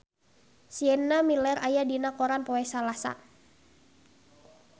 Sienna Miller aya dina koran poe Salasa